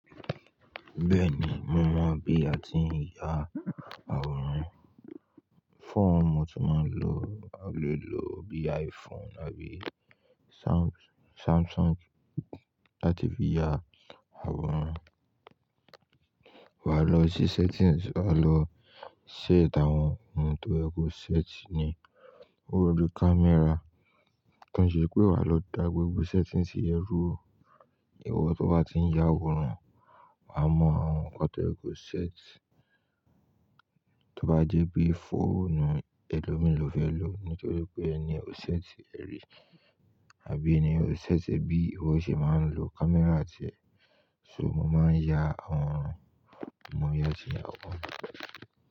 Bẹ́ẹ̀ni, mo mọ̀ bí a ti ń ya àwòrán. Fóònù mo ti máa ń lò, a lè lò bí i iPhone àbí Samsung láti fi ya àwòrán. Wà á lọ sí settings, wà á lọ set àwọn ohun tó yẹ kó ṣẹ́ẹ̀tì ni. Ó rọrùn kí camera, tí ó ń ṣe pé wà á lọ dá gbogbo settings tí ẹ rú u, ìwọ tó bá ti ń ya àwòrán, wà á mọ àwọn nǹkan tó yẹ kó ṣẹ́ẹ̀tì. Tó bá jẹ́ pé fóònù ẹlòmíì lọ fẹ́ lò ni kí ó pé ẹ ni ó ṣẹ́ẹ̀tì rẹ rí àbí ẹ ni ó ṣẹ́ẹ̀tì ẹ bí ìwọ ṣe máa ń lo camera rẹ. So mo máa ń ya àwọn nǹkan, mo yá ti ń yá wọn.